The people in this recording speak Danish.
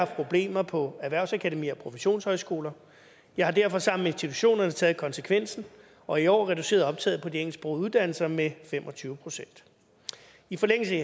problemer på erhvervsakademier og professionshøjskoler jeg har derfor sammen med institutionerne taget konsekvensen og i år reduceret optaget på de engelsksprogede uddannelser med fem og tyve procent i forlængelse